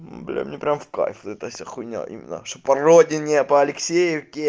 мм бля мне прям в кайф вот эта вся хуйня именно что по родине алексеевке